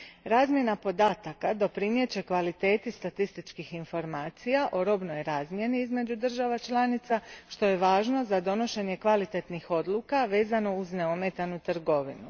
Razmjena podataka doprinijet će kvaliteti statističkih informacija o robnoj razmjeni između država članica, što je važno za donošenje kvalitetnih odluka vezano uz neometanu trgovinu.